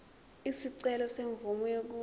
isicelo semvume yokuba